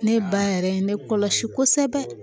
Ne ba yɛrɛ ye ne kɔlɔsi kosɛbɛ